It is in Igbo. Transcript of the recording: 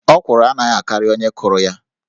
Ọkwụrụ anaghị akarị onye kụrụ ya